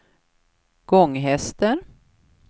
Gånghester